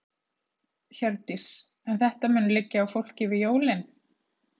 Hjördís: En þetta mun liggja á fólki yfir jólin?